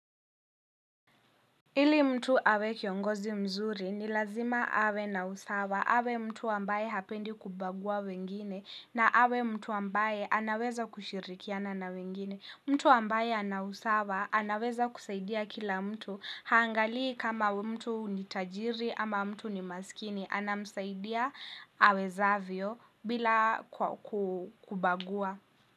Ili mtu awe kiongozi mzuri, ni lazima awe na usawa. Awe mtu ambaye hapendi kubagua wengine. Na awe mtu ambaye anaweza kushirikiana na wengine. Mtu ambaye ana usawa, anaweza kusaidia kila mtu. Haangalii kama mtu ni tajiri ama mtu ni masikini. Anamsaidia awezavyo bila kubagua.